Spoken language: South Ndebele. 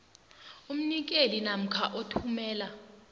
umnikeli namkha othumela